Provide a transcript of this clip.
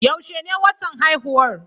Yaushe ne watan haihuwar?